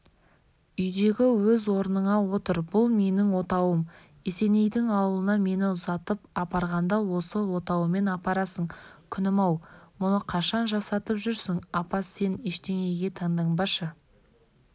үйдегі өз орныңа отыр бұл менің отауым есенейдің ауылына мені ұзатып апарғанда осы отауыммен апарасың күнім-ау мұны қашан жасатып жүрсің апа сен ештеңеге таңданбашы